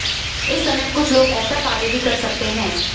इस समय कुछ लोग ऐसा कार्य भी कर सकते है